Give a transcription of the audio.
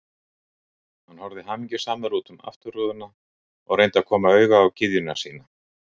Hann horfði hamingjusamur út um afturrúðuna og reyndi að koma auga á gyðjuna sína.